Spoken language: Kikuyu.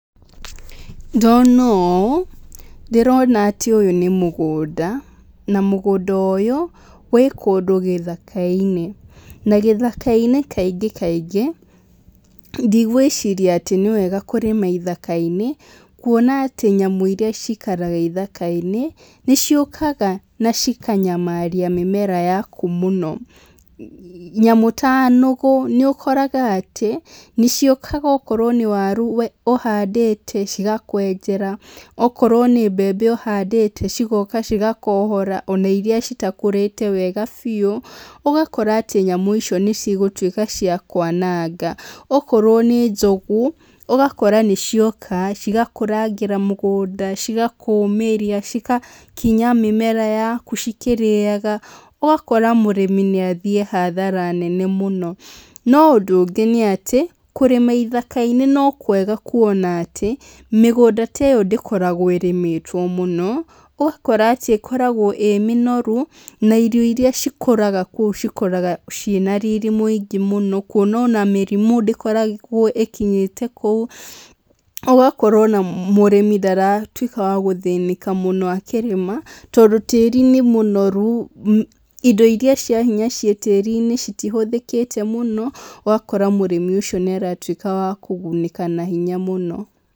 Ndona ũũ ndĩrona atĩ ũyũ nĩ mũgũnda, na mũgũnda ũyũ wĩ kũndũ gĩthaka-inĩ. Na gĩthaka-inĩ kaingĩ kaingĩ ndigwĩciria atĩ nĩ wega kũrĩma ithaka-inĩ kuona atĩ nyamũ irĩa cikaraga ĩthaka-inĩ nĩ ciũkaga na cikanyamaria mĩmera yaku mũno. Nyamũ ta nũgũ nĩ ũkoraga atĩ nĩ ciũkaga ũgakora atĩ okorwo nĩ waru ũhandĩte cigakwenjera, okorwo nĩ mbembe ũhandĩte cigoka cigakohora ona irĩa citakũrĩte wega biũ, ũgakora atĩ nyamũ icio nĩ cigũtuĩka cia kwananga. Ũkorwo nĩ njogu, ũgakora nĩ cioka cigakũrangĩra mũgũnda, cigakũmĩria, cigakinya mĩmera yaku cikĩrĩaga, ũgakora mũrĩmi nĩ athiĩ hathara nene mũno. No ũndũ ũngĩ nĩ atĩ, kũrĩma ithaka-inĩ no kwega kuona atĩ mĩgũnda ta ĩyo ndĩkoragwo ĩrĩmĩtwo mũno, ũgakora atĩ ĩkoragwo ĩĩ mĩnoru na irio irĩa cikũraga kũu cikũraga ciĩna riri mwega mũno. Kuona ona mĩrimũ ndĩkoragwo ĩkinyĩte kũu, ũgakora ona mũrĩmi ndaratuĩka wa gũthĩnĩka mũno akĩrĩma tondũ tĩĩri nĩ mũnoru, indo irĩa cia hinya ciĩ tĩĩri-inĩ citihũthĩkĩte mũno, ugakora mũrĩmi ũcio nĩ aratuĩka wa kũgunĩka na hinya mũno.